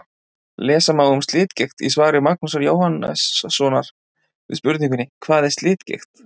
Lesa má um slitgigt í svari Magnúsar Jóhannssonar við spurningunni: Hvað er slitgigt?